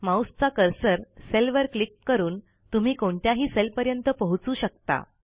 माऊसचा कर्सर सेलवर क्लिक करून तुम्ही कोणत्याही सेलपर्यंत पोहचू शकता